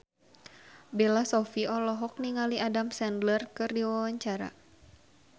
Bella Shofie olohok ningali Adam Sandler keur diwawancara